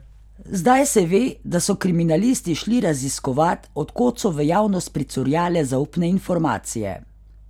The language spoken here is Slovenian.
Zdaj se ve, da so kriminalisti šli raziskovat, od kod so v javnost pricurljale zaupne informacije.